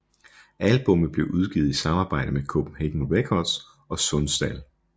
Albummet blev udgivet i samarbejde med Copenhagen Records og Sundsdal